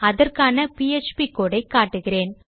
அதற்கான PHP code ஐ காட்டுகிறேன்